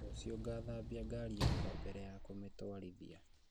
Rũciũ ngathambia ngari yakwa mbere ya kũmĩtwarithia